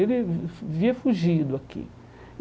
Ele via fugido aqui.